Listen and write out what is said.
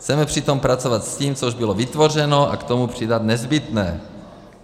Chceme přitom pracovat s tím, co už bylo vytvořeno, a k tomu přidat nezbytné.